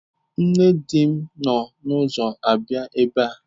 Nne di m nọ n'ụzọ abịa ebe a.